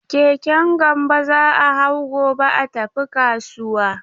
Keken Gambo za a hau gobe a tafi kasuwa.